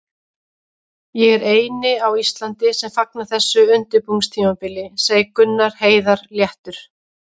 Ég er eini á Íslandi sem fagna þessu undirbúningstímabili, segir Gunnar Heiðar léttur.